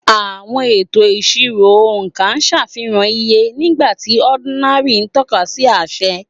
Àwọn ètò ìṣirò oonka ṣàfihàn iye, nígbà tí ordinal ń tọ́ka sí àṣẹ.